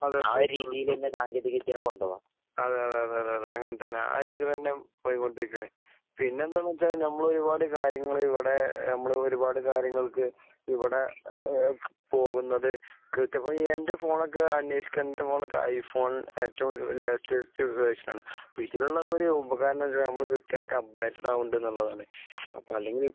അതേ തീർത്തും. അതേ അതേ അതേ അതേ അങ്ങനെ തന്നെ. ആ ഒരു രീതിയില് തന്നെ പോയീകൊണ്ടിരിക്കാണ്. പിന്നെത്തന്നു വെച്ച് കഴിഞ്ഞാല് നമ്മള് ഒരുപാട് കാര്യങ്ങള് ഇവിടെ നമ്മള് ഒരുപാട് കാര്യങ്ങൾക്ക് ഇവിടെ ഏഹ് പോവുന്നത് തീർത്തും ഇപ്പൊ എന്റെ ഫോണൊക്കെ അനേഷിക്കാ. എന്റെ ഫോണൊക്കെ ഐ ഫോൺ ഏറ്റവും ലേറ്റസ്റ്റ് വേർഷൻ ആണ്. അപ്പൊ ഇതിനുള്ള ഒക്കൊരു ഉപകാരന്ന് വെച്ച് കഴിഞ്ഞാ നമ്മള് കൃത്യായിട്ട് അപ്ഡേറ്റഡ് ആവോണ്ട്ള്ളത്ന്ന് കൊണ്ടാണ്. അപ്പൊ അല്ലെങ്കി